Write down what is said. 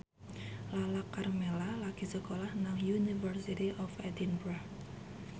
Lala Karmela lagi sekolah nang University of Edinburgh